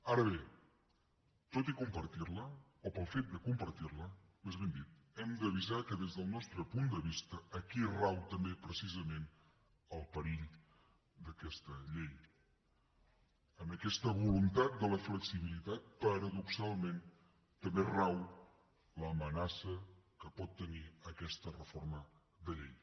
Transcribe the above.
ara bé tot i compartir la o pel fet de compartir la més ben dit hem d’avisar que des del nostre punt de vista aquí rau també precisament el perill d’aquesta llei en aquesta voluntat de la flexibilitat paradoxalment també rau l’amenaça que pot tenir aquesta reforma de llei